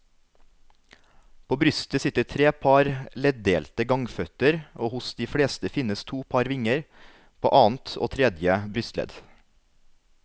På brystet sitter tre par leddelte gangføtter og hos de fleste finnes to par vinger, på annet og tredje brystledd.